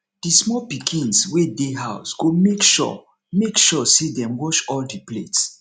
di small pikins wey dey house go mek sure mek sure say dem wash all di plates